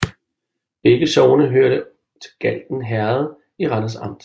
Begge sogne hørte til Galten Herred i Randers Amt